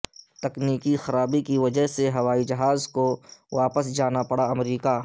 تکنیکی خرابی کی وجہ سے ہوائی جہاز کوواپس جانا پڑا امریکہ